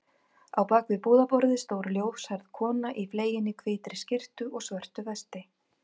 Á bak við búðarborðið stóð ljóshærð kona í fleginni hvítri skyrtu og svörtu vesti.